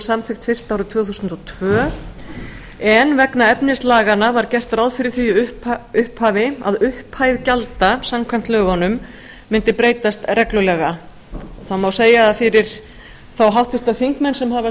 samþykkt fyrst árið tvö þúsund og tvö en vegna efnis laganna var gert ráð fyrir því í upphafi að upphæð gjalda samkvæmt lögunum mundi breytast reglulega það má segja að fyrir þá háttvirtir þingmenn sem hafa